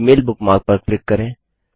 Gmail bookmark पर click करें